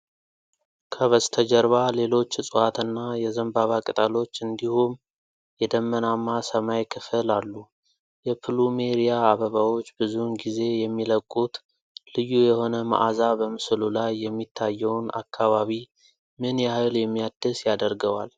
ከበስተጀርባ ሌሎች እፅዋትና የዘንባባ ቅጠሎች እንዲሁም የደመናማ ሰማይ ክፍል አሉ። የፕሉሜሪያ አበባዎች ብዙውን ጊዜ የሚለቁት ልዩ የሆነ መዓዛ በምስሉ ላይ የሚታየውን አካባቢ ምን ያህል የሚያድስ ያደርገዋል?